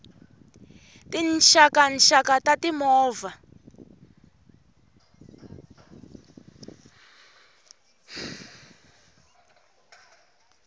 tinxaka nxaka ta ti movha